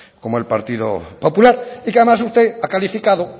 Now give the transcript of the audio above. como el partido popular y que además usted ha calificado